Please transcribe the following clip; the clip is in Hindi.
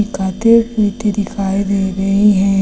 खाते पीते दिखाई दे रहे हैं।